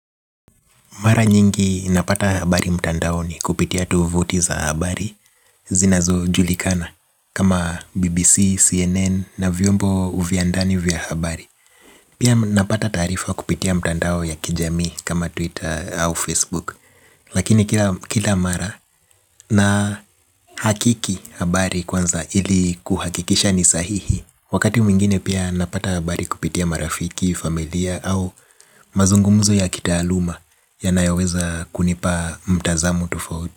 Mara nyingi napata habari mtandaoni kupitia tovuti za habari zinazojulikana kama BBC, CNN na vyombo vya ndani vya habari. Pia napata taarifa kupitia mtandao ya kijamii kama Twitter au Facebook. Lakini kila mara na hakiki habari kwanza ili kuhakikisha ni sahihi. Wakati mwingine pia napata habari kupitia marafiki, familia au mazungumuzo ya kitaaluma yanayoweza kunipa mtazamo tofauti.